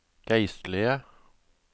geistlige